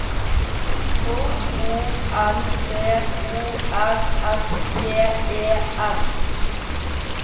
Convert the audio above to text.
K O N T O R S J E F